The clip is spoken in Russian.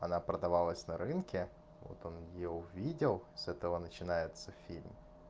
она продавалась на рынке вот он её увидел с этого начинается фильм